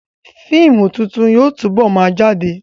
Fíìmù tuntun yóò túbọ̀ ma jáde